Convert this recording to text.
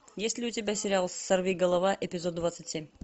есть ли у тебя сериал сорвиголова эпизод двадцать семь